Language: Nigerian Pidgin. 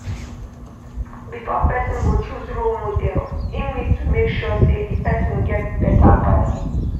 Before person go choose role model im need to make sure sey di person get better values